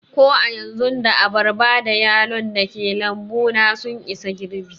Ko a yanzu, da abarba da yalon dake lambu na sun isa girɓi